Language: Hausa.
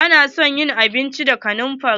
Ina son yin abinci da kanamfari.